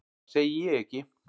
Það segi ég ekki.